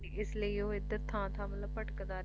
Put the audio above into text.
ਇਸ ਲਈ ਉਹ ਏਧਰ ਥਾਂ ਥਾਂ ਮਤਲਬ ਭਟਕਦਾ ਸੀ